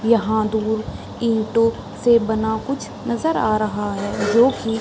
यहाँ दूर ईटों से बना कुछ नजर आ रहा है जो की --